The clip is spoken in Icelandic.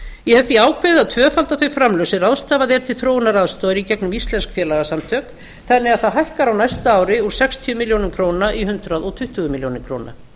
ég hef því ákveðið að tvöfalda þau framlög sem ráðstafað er til þróunaraðstoðar í gegnum íslensk félagasamtök þannig að það hækkar á næsta ári úr sextíu milljónum króna í hundrað tuttugu milljónir króna